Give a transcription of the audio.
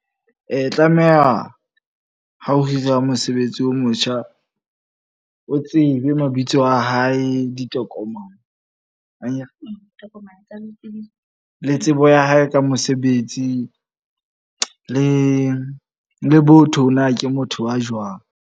E tlameha ha o hira mosebetsi o motjha. O tsebe mabitso a hae, ditokomane akere? Le tsebo ya hae ka mosebetsi. Le botho na ke motho wa jwang.